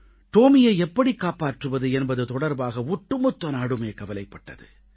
டோமியை எப்படி காப்பாற்றுவது என்பது தொடர்பாக ஒட்டுமொத்த நாடுமே கவலைப்பட்டது